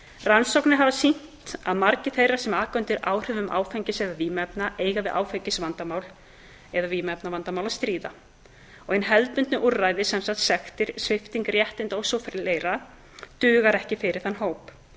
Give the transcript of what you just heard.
rannsóknir hafa sýnt að margir þeirra sem aka undir áhrifum áfengis eða vímuefna eiga við áfengis eða vímuefnavandamál að stríða og hin hefðbundnu úrræði duga ekki fyrir þann hóp því